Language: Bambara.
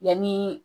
Yanni